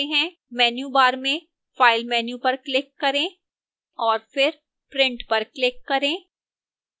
menu bar में file menu पर click करें और फिर print पर click करें